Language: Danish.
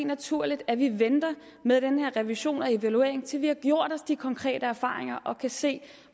naturligt at vi venter med den her revision og evaluering til vi har gjort os de konkrete erfaringer og kan se